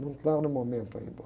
Não está no momento ainda.